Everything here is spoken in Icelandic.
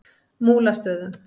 Múlastöðum